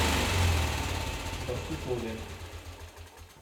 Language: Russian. барсукове